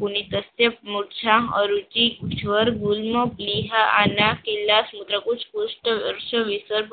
પુનિતસ્ય, મુત્છા, અરુચિ, સ્વર્ગુલ્મપ, લિહાઆના, કિલ્લાસ મુજબ ઉચ્ચ કોસ્ટ રશ્યવિષર્ભ